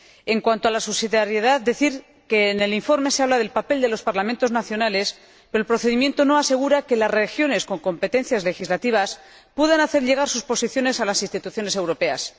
En cuanto a la subsidiariedad, quisiera decir que en el informe se habla del papel de los parlamentos nacionales, pero el procedimiento no asegura que las regiones con competencias legislativas puedan hacer llegar sus posiciones a las instituciones europeas.